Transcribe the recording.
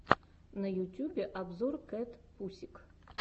на ютьюбе обзор кэтпусик